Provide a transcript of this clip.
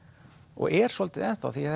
og er svolítið ennþá því